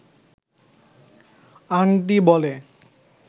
আংটি বলে